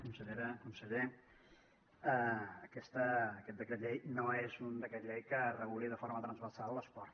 consellera conseller aquest decret llei no és un decret llei que reguli de forma transversal l’esport